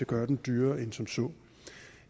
gøre den dyrere end som så